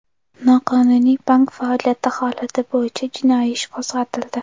Noqonuniy bank faoliyati holati bo‘yicha jinoiy ish qo‘zg‘atildi.